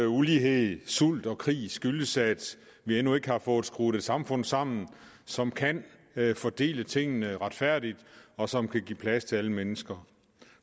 ulighed sult og krig skyldes at vi endnu ikke har fået skruet et samfund sammen som kan fordele tingene retfærdigt og som kan give plads til alle mennesker